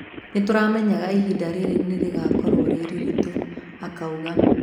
"Nituramenyaga ihinda riri ni rigukorwo riritu", Akauga